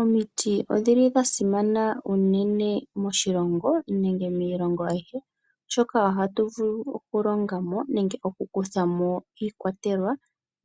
Omiti odha simana unene moshilongo nenge miilongo ayihe, oshoka ohatu vulu okulonga mo nenge okukutha mo iikwatelwa